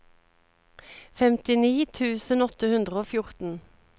femtini tusen åtte hundre og fjorten